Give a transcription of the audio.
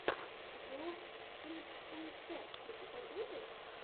влог кингстон тэк у тебя будет